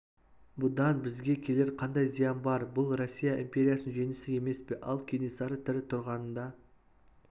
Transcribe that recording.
неге оның көксегені абылайдың заманы бар қазаққа өзі хан болмақ жарайды деді генс кенесары хандықты көксесін